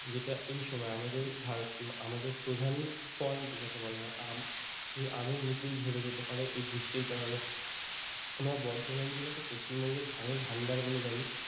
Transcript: যেটা এই সময়ে আমাদের ভারত আমাদের প্রধান ফল যাকে বলা হয় আম সেই আমের মুকুল ঝরে যেতে পারে এই বৃষ্টির কারণে আমরা বর্ধমান জেলাকে পশ্চিমবঙ্গের ধানের ভাণ্ডার বলে জানি